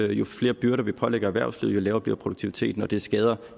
jo flere byrder vi pålægger erhvervslivet jo lavere bliver produktiviteten og det skader